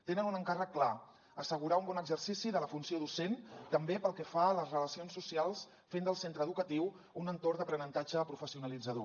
tenen un encàrrec clar assegurar un bon exercici de la funció docent també pel que fa a les relacions socials fent del centre educatiu un entorn d’aprenentatge professionalitzador